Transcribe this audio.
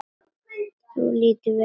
Þú lítur vel út.